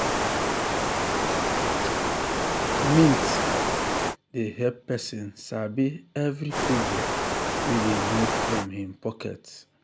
mint um dey help person sabi every kobo wey dey move from him pocket.